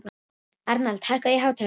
Arnald, hækkaðu í hátalaranum.